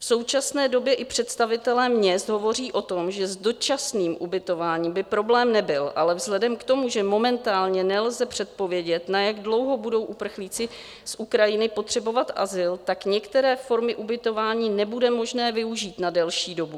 V současné době i představitelé měst hovoří o tom, že s dočasným ubytováním by problém nebyl, ale vzhledem k tomu, že momentálně nelze předpovědět, na jak dlouho budou uprchlíci z Ukrajiny potřebovat azyl, tak některé formy ubytování nebude možné využít na delší dobu.